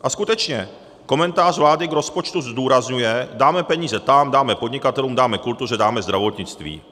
A skutečně, komentář vlády k rozpočtu zdůrazňuje - dáme peníze tam, dáme podnikatelům, dáme kultuře, dáme zdravotnictví.